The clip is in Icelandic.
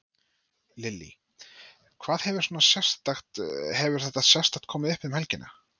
Lillý: Hvað hefur svona sérstakt, hefur eitthvað sérstakt komið uppá um helgina?